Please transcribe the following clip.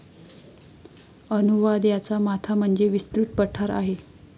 अनुवाद याचा माथा म्हणजे विस्तृत पठार आहे